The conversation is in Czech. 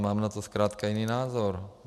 Mám na to zkrátka jiný názor.